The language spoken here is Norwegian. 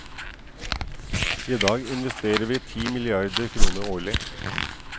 I dag investerer vi ti milliarder kroner årlig.